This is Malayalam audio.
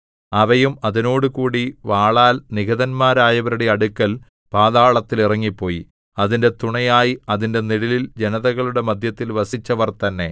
അവയും അതിനോടുകൂടി വാളാൽ നിഹതന്മാരായവരുടെ അടുക്കൽ പാതാളത്തിൽ ഇറങ്ങിപ്പോയി അതിന്റെ തുണയായി അതിന്റെ നിഴലിൽ ജനതകളുടെ മദ്ധ്യത്തിൽ വസിച്ചവർ തന്നെ